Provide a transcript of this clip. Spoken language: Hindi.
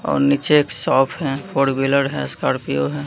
और नीचे एक शॉप हैं फोर व्हीलर है स्कॉर्पियो है।